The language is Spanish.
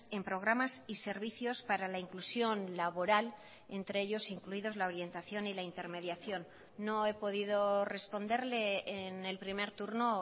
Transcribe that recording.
en programas y servicios para la inclusión laboral entre ellos incluidos la orientación y la intermediación no he podido responderle en el primer turno